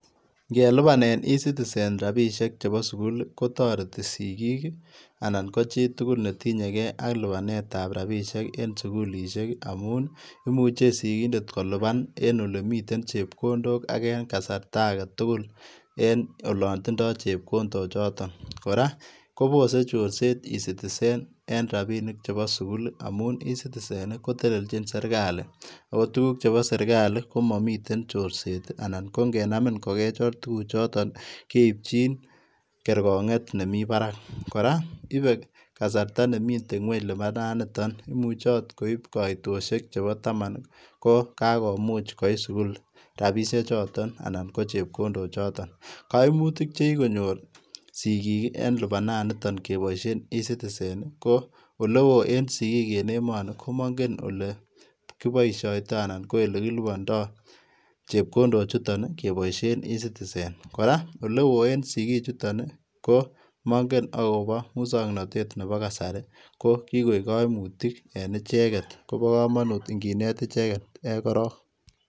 Ngelupaneen [] e citizen [] rapisheek chebo sugul ii kotaretii sigiig ii anan ko chii tugul ne tinyei ak lupaneet ab rapisheek en sugulisheek amuun ii imuche sigindet kolupaan en ole miten chepkondook age en kasarta age tugul en olaan tindaa chepkondook chotoon kora kobose chorset []e citizen [] en rapinik chebo sugul ii amuun ii [] e citizen [] koleljiin serikali ako tuguuk chebo serikali komamiten chorset ii anan ko ingenamin kogechir tuguuk chotoon ii keipchiin kergongeet nemii barak kora ibe kasarta nemiten kweeny lipanaan nitoon imuche akoot koib kaitoshek chebo taman ko ka komuuch koit sugul rapisheek chotoon anan ko chepkondook chotoon kaimutiik che kikonyoor sigiik ii en lipanaan nitoon ii kebaisheen [] e citizen [] ko ole wooh en sigiik en emanii ko mangeen kole kibaishaitoi anan ko ole kilupandaa chepkondook chutoon ii kebaisheen []e citizen [] kora ole wooh en sigiik chutoon ii ko mangeen agobo musangnatet ab kasari ko kikoek kaimutiik en ichegeet Kobo kamanut ingineet ichegeet korong.